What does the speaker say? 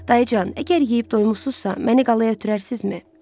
Dayıcan, əgər yeyib doymusunuzsa, məni qalaya ötürərsinizmi?